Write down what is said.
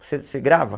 Você você grava?